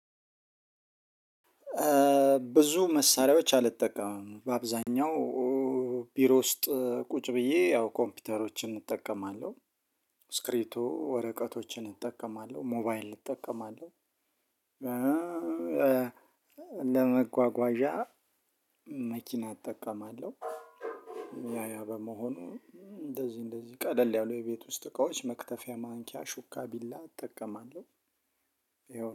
ብዙ መሳሪያዎች አልጠቀምም በአብዛኛው ቢሮ ውስጥ ቁጭ ብዬ ያው ኮምፒውተሮችን እጠቀማለሁ እስክሪቶ ወረቀቶችን እጠቀማለሁ ሞባይል እጠቀማለሁ። ለመጓጓዣ መኪና እጠቀማለሁ። ያ ያ በመሆኑ እንደዚህ እንደዚህ ቀለል ያሉ የቤት ውስጥ እቃዎች መክተፊያ ማንኪያ ሹካ ቢላ እጠቀማለሁ።